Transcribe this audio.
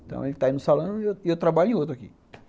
Então, ele está aí no salão e eu eu trabalho em outro aqui.